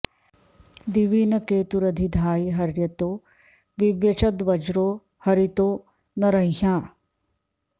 दिवि न केतुरधि धायि हर्यतो विव्यचद्वज्रो हरितो न रंह्या